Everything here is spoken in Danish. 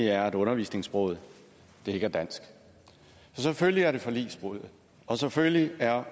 er at undervisningssproget ikke er dansk så selvfølgelig er det forligsbrud og selvfølgelig er